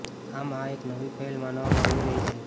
આમ આ એક નવી પહેલ માનવામાં આવી રહી છે